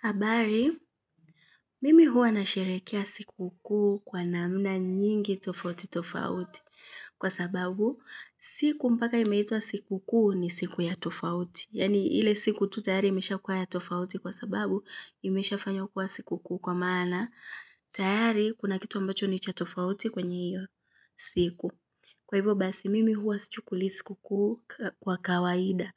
Habari, mimi huwa na sherekea siku kuu kwa namna nyingi tofauti tofauti kwa sababu siku mpaka imeitwa siku kuu ni siku ya tofauti. Yani ile siku tu tayari imeshakuwa ya tofauti kwa sababu imesha fanywa kuwa siku kuu kwa maana tayari kuna kitu ambacho ni cha tofauti kwenye hiyo siku kwa hivyo basi mimi huwa si chukuli siku kuu kwa kawaida.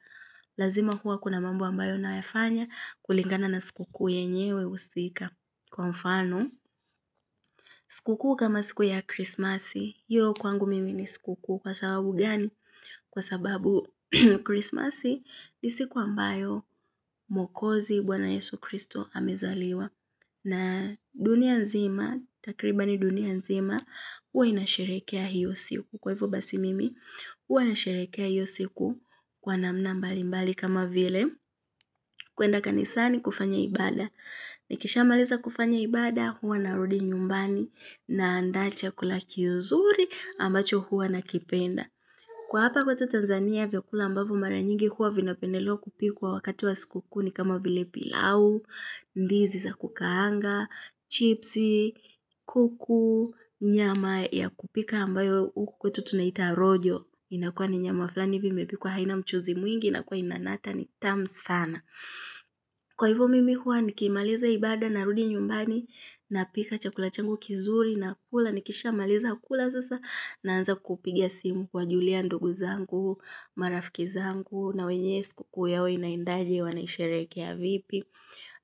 Lazima huwa kuna mambo ambayo nayafanya kulingana na siku kuu yenyewe usika. Kwa mfano, siku kuu kama siku ya krismasi, hiyo kwangu mimi ni siku kuu kwa sababu gani? Kwa sababu krismasi ni siku ambayo mwokozi bwana yesu kristo amezaliwa na dunia nzima, takribani dunia nzima, huwa inasherekea hiyo siku. Kwa hivo basi mimi, huwa na sherekea hiyo siku kwa namna mbali mbali kama vile kuenda kanisani kufanya ibada. Nikisha maliza kufanya ibada, huwa narudi nyumbani na anda chakula kizuri ambacho huwa nakipenda. Kwa hapa kwetu Tanzania vya kula ambavyo mara nyingi huwa vinapendelewa kupikuwa wakati wa siku kuu ni kama vile pilau, ndizi za kukaanga, chipsi, kuku, nyama ya kupika ambayo uku kwetu tunaita rojo. Inakua ni nyama fulani hivi imepikuwa haina mchuzi mwingi inakua inanata ni tamu sana. Kwa hivo mimi huwa nikimaliza ibaada narudi nyumbani napika chakula changu kizuri nakula nikisha maliza kula sasa naanza kuwapigia simu kuwa julia ndugu zangu marafiki zangu na wenye siku kuu yao inaindaje wanaisherekea vipi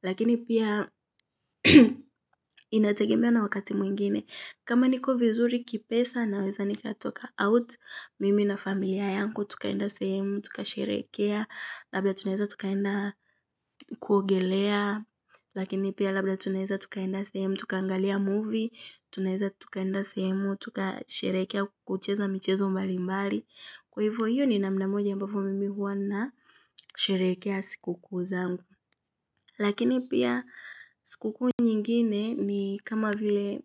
lakini pia inategemea na wakati mwingine kama niko vizuri kipesa naweza nikatoka out mimi na familia yangu tukaenda sehemu, tukasherekea labda tunaeza tukaenda kuogelea, lakini pia labda tunaeza tukaenda sehemu, tukaangalia movie, tunaeza tukaenda sehemu, tuka sherekea kucheza michezo mbali mbali. Kwa hivyo hiyo ni namna moja ambavyo mimi huwa na sherekea siku kuu zangu. Lakini pia siku kuu nyingine ni kama vile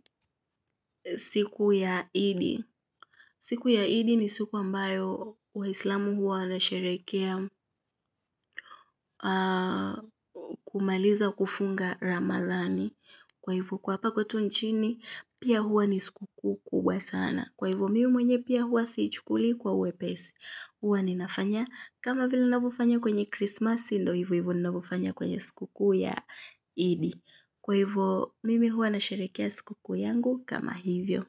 siku ya idi. Siku ya idi ni siku ambayo waislamu huwa wanasherekea kumaliza kufunga ramadhani. Kwa hivo kwa hapa kwetu nchini, pia huwa ni siku kuu kubwa sana. Kwa hivo mimi mwenye pia huwa siichukuli kwa uwepesi. Huwa ninafanya, kama vila navyo fanya kwenye krisimasi, ndo hivo hivo navyofanya kwenye siku kuu ya idi. Kwa hivo, mimi huwa nasherekea siku kuu yangu kama hivyo.